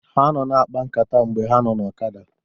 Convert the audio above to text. Ha nọ na-akpa nkata mgbe ha nọ na ọkada